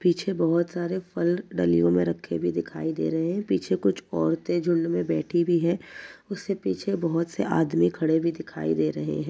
पीछे बहुत सारे फल डलियों में रखे हुए दिखाई दे रहे हैं। पीछे कुछ औरतें झुण्ड में बैठी भी हैं उससे पीछे बहुत से आदमी खड़े भी दिखाई दे रहे हैं।